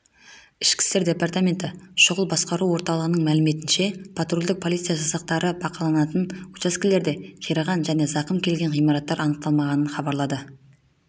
ішкі істер департаменті шұғыл басқару орталығының мәліметінше патрульдік полиция жасақтары бақыланатын учаскелерде қираған және зақым келген ғимараттар анықталмағанын хабарлады